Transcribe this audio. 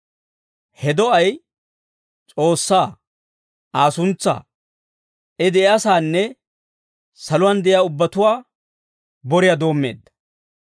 He do'ay S'oossaa, Aa suntsaa, I de'iyaasaanne saluwaan de'iyaa ubbatuwaa boriyaa doommeedda.